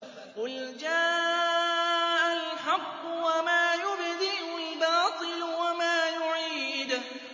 قُلْ جَاءَ الْحَقُّ وَمَا يُبْدِئُ الْبَاطِلُ وَمَا يُعِيدُ